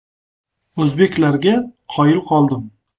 “O‘zbeklarga qoyil qoldim”.